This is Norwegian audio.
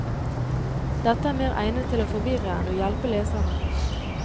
Dette er mer egnet til å forvirre enn å hjelpe leserne.